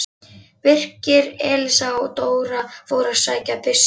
Birkir, Elías og Dóra fóru að sækja byssuna.